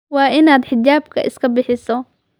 Waa inaad xijaabka iska bixiso.